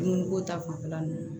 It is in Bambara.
Dumuniko ta fanfɛla nunnu na